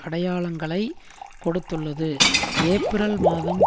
அடையாளங்களை கொடுத்துள்ளது ஏப்பிரல் மாதம்